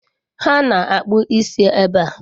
Ha na akpụ isi ebe a.